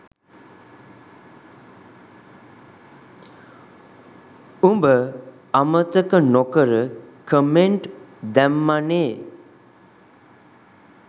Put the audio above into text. උඹ අමතක නොකර කමෙන්ට් දැම්මනේ.